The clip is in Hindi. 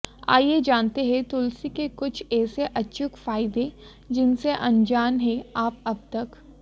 आइए जानते हैं तुलसी के कुछ ऐसे अचूक फायदे जिनसे अनजान हैं आप अबतक